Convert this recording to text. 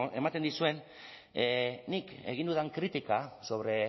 ematen dizuen nik egin dudan kritika sobre